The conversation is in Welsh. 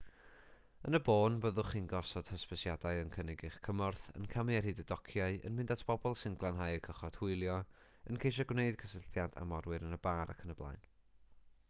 yn y bôn byddwch chi'n gosod hysbysiadau yn cynnig eich cymorth yn camu ar hyd y dociau yn mynd at bobl sy'n glanhau eu cychod hwylio yn ceisio gwneud cysylltiad â morwyr yn y bar ayb